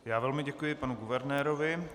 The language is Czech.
Já velmi děkuji panu guvernérovi.